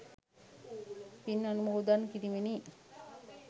පින් අනුමෝදන් කිරීමෙනි.